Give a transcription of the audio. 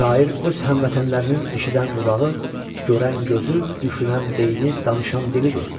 Şair öz həmvətənlərinin eşidən qulağı, görən gözü, düşünən beyni, danışan dilidir.